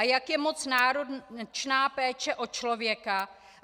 A jak moc je náročná péče o člověka?